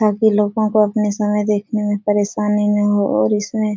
ताकि लोगो को अपनी समय देखने में परेशानी न हो और इसमें --